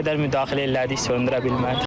Nə qədər müdaxilə elədik söndürə bilmədik.